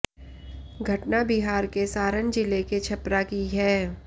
घटना बिहार के सारण जिले के छपरा की है